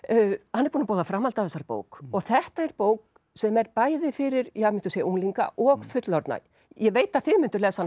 hann er búinn að boða framhald af þessari bók og þetta er bók sem er bæði fyrir unglinga og fullorðna ég veit að þið mynduð lesa hana